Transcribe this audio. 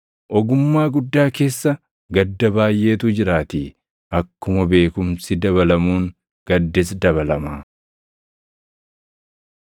Ogummaa guddaa keessa gadda baayʼeetu jiraatii; akkuma beekumsi dabalamuun gaddis dabalama.